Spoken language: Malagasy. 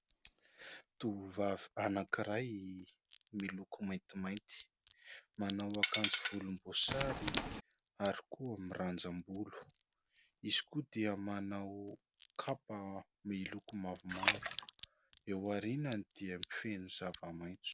Tovovavy anankiray miloko maintimainty, manao akanjo volomboasary ary koa mirandram-bolo, izy koa dia manao kapa miloko mavomavo, eo aorinany dia feno ny zava-maitso.